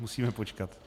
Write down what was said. Musíme počkat.